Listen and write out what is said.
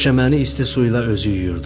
Döşəməni isti suyla özü yuyurdu,